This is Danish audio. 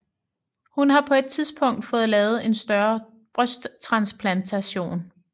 Hun har på et tidspunkt fået lavet en større brysttransplantation